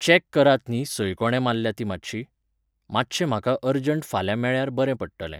Check करात न्ही संय कोणें मारल्या ती मातशी. मातशें म्हाका अरजंट फाल्यां मेळ्यार बरें पडटलें